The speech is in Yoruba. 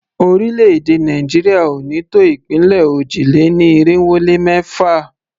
Orílẹ̀-èdè Nàìjíríà ò ní tó ìpínlẹ̀ òjì-lé-ní-irinwó-lé-mẹ́fà.